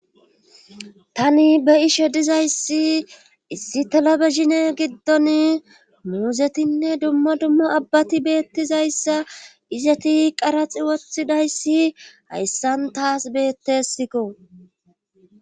tani be ishe dizayssi issi talabe zine giddon muuzetinne dumma duma abbati beettizayssa izeti qaraxi wothidayssi hayssan taas beettesikko